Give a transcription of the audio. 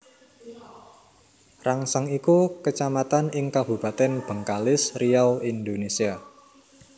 Rangsang iku Kacamatan ing Kabupatèn Bengkalis Riau Indonesia